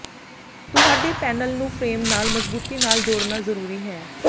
ਤੁਹਾਡੇ ਪੈਨਲ ਨੂੰ ਫ੍ਰੇਮ ਨਾਲ ਮਜ਼ਬੂਤੀ ਨਾਲ ਜੋੜਨਾ ਜ਼ਰੂਰੀ ਹੈ